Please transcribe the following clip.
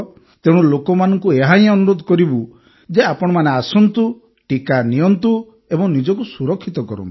ତେଣୁ ଲୋକମାନଙ୍କୁ ଏହାହିଁ ଅନୁରୋଧ କରିବୁ ଯେ ଆପଣମାନେ ଆସନ୍ତୁ ଟିକା ନିଅନ୍ତୁ ଏବଂ ନିଜକୁ ସୁରକ୍ଷିତ କରନ୍ତୁ